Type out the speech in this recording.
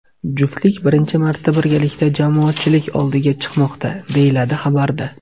Juftlik birinchi marta birgalikda jamoatchilik oldiga chiqmoqda, deyiladi xabarda.